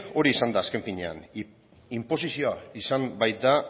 hori izan da azken finean inposizioa izan baita